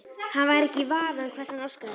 Hann væri ekki í vafa um hvers hann óskaði sér.